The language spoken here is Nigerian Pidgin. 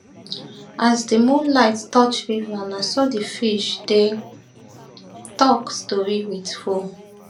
as di moonlight touch river na so the fish dey talk story wit foam